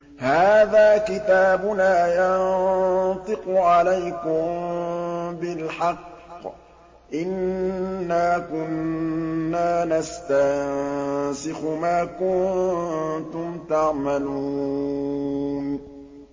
هَٰذَا كِتَابُنَا يَنطِقُ عَلَيْكُم بِالْحَقِّ ۚ إِنَّا كُنَّا نَسْتَنسِخُ مَا كُنتُمْ تَعْمَلُونَ